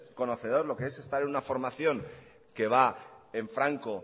conocedor de lo que es estar en una formación que va en franco